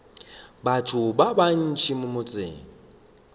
batho ba bantši mo motseng